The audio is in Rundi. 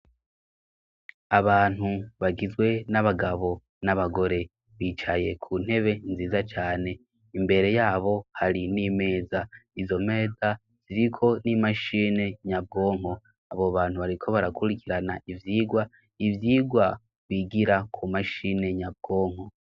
Abantu bagizwe n'abagabo n'abagore bicaye ku ntebe nziza cane imbere yabo hari n'imeza, izo meza ziriko n'imashini nyabwonko, abo bantu bariko barakurikirana ivyigwa ivyigwa bigira ku mashini nyabwonko.